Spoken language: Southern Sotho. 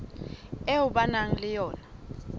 eo ba nang le yona